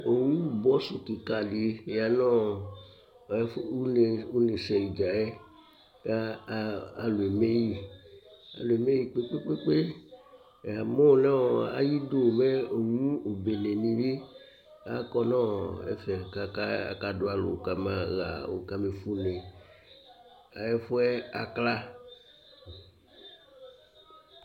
Owu bɔsʋ kìka di ya nʋ ʋne sɛ dza yɛ kʋ alu eme yi Alu eme yi kpe kpe kpe kpe Yamu nʋ ayʋ idu mɛ owu bene ni bi akɔ nʋ ɛfɛ kʋ aka du alu kama fue ʋne Ɛfʋɛ akla